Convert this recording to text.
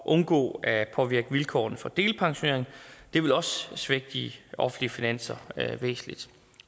undgå at påvirke vilkårene for delpensionering det vil også svække de offentlige finanser væsentligt